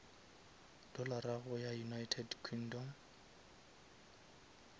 dollara go ya united kingdom